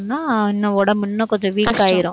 சொன்னா இன்னும் உடம்பு இன்னும் கொஞ்சம் weak ஆயிரும்.